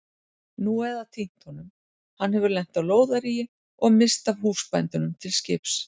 Nú eða týnt honum, hann hefur lent á lóðaríi og misst af húsbændunum til skips.